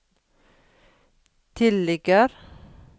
tilligger